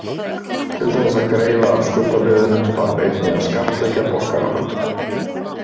Til þess að greiða af skuldabréfinu þarf einnig að skattleggja borgarana.